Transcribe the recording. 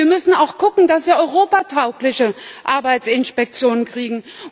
Wir müssen auch schauen, dass wir europataugliche Arbeitsinspektionen kriegen.